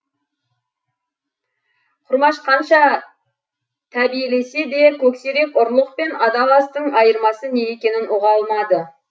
құрмаш қанша тәбиелесе де көксерек ұрлық пен адал астың айырмасы не екенін ұға алмады